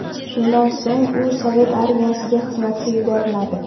Shundan so‘ng u sovet armiyasiga xizmatga yuboriladi.